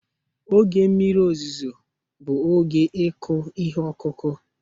Oge mmiri ozuzo bụ oge ịkụ ihe ọkụkụ